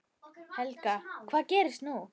Helga: Hvað gerist núna?